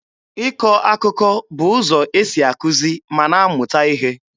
Ịkọ akụkọ bụ ụzọ esi akụzi ma na-amụta ihe.